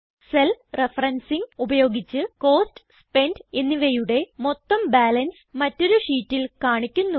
cell referencing ഉപയോഗിച്ച് cost spent എന്നിവയുടെ മൊത്തം ബാലൻസ് മറ്റൊരു ഷീറ്റിൽ കാണിക്കുന്നു